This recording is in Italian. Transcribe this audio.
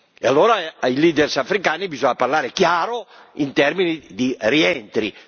E allora ai leader africani bisogna parlare chiaro in termini di rientri.